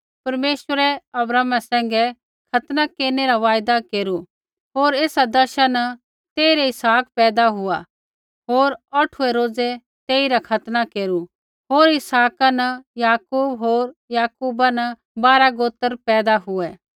परमेश्वरै अब्राहमा सैंघै खतना केरनै रा वायदा केरू होर एसा दशा न तेइरै इसहाक पैदा हुआ होर औठुऐ रोज़ै तेइरा खतना केरू होर इसहाका न याकूब होर याकूबा न बारा गोत्र पैदा हुऐ